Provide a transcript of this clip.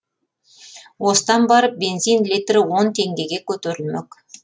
осыдан барып бензин литрі он теңгеге көтерілмек